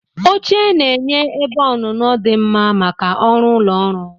Oche na-enye ebe onuno di mma maka ọrụ ụlọ ọrụ.